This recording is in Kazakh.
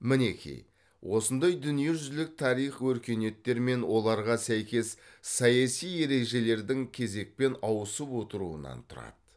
мінеки осындай дүниежүзілік тарих өркениеттер мен оларға сәйкес саяси ережелердің кезекпен ауысып отыруынан тұрады